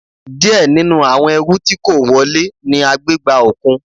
Díẹ̀ nínú àwọn ẹrù tí kó wọle ni a gbé gba òkun.